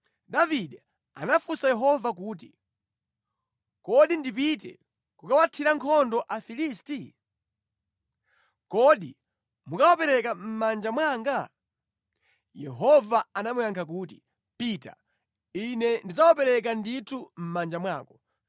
Davide anafunsa Yehova kuti, “Kodi ndipite kukathira nkhondo Afilisti? Kodi mukawapereka mʼmanja mwanga?” Yehova anamuyankha kuti, “Pita, Ine ndidzawapereka ndithu mʼmanja mwako.”